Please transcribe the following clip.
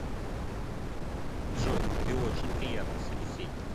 джой ты очень приятный собеседник